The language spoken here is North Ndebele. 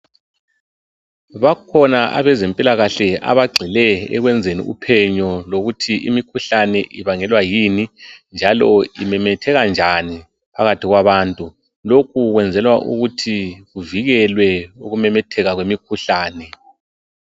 Bakhona abezempilakahle abagxile ekwenzeni uphenyo lokuthi imikhuhlane ibangelwa yini njalo imemetheka njani phakathi kwabantu .Lokhu kwenzelwa ukuthi kuvikelwe ukumemetheka kwemikhuhlane.